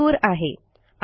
हा मजकूर आहे